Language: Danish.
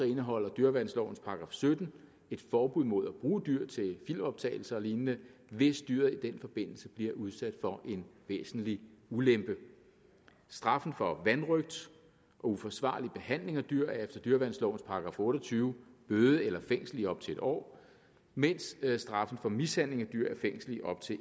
indeholder dyreværnslovens § sytten et forbud mod at bruge dyr til filmoptagelser og lignende hvis dyret i den forbindelse bliver udsat for en væsentlig ulempe straffen for vanrøgt og uforsvarlig behandling af dyr er efter dyreværnslovens § otte og tyve bøde eller fængsel i op til en år mens straffen for mishandling af dyr er fængsel i op til